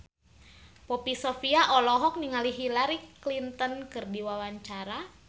Poppy Sovia olohok ningali Hillary Clinton keur diwawancara